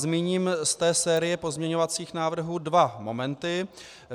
Zmíním z té série pozměňovacích návrhů dva momenty.